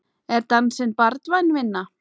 Er dansinn barnvæn vinna?